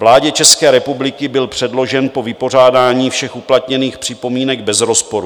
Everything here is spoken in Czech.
Vládě České republiky byl předložen po vypořádání všech uplatněných připomínek bez rozporu.